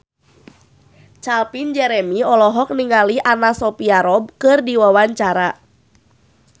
Calvin Jeremy olohok ningali Anna Sophia Robb keur diwawancara